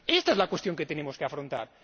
Esta es la cuestión que tenemos que afrontar.